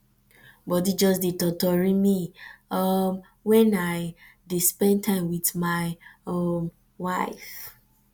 body just dey totori me um wen i um dey spend time with my um wife